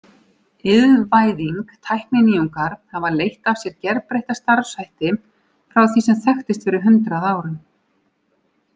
Iðnvæðing Tækninýjungar hafa leitt af sér gerbreytta starfshætti frá því sem þekktist fyrir hundrað árum.